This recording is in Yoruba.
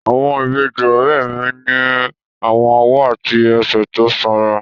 Àwọn ìbejì ọ̀rẹ́ mi ní àwọn ọwọ́ àti ẹsẹ̀ tó sanra